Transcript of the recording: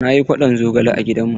Na yi kwaɗon zogale a gidan mu.